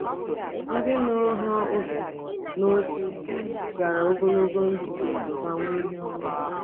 Ndị nụrụ ha obi n’otu gara ogologo ndụ ma nwee ihe ọma.